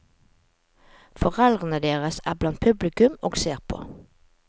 Foreldrene deres er blant publikum og ser på.